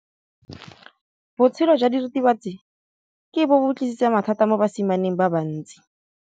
Botshelo jwa diritibatsi ke bo tlisitse mathata mo basimaneng ba bantsi.